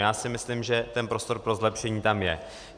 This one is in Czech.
Já si myslím, že ten prostor pro zlepšení tam je.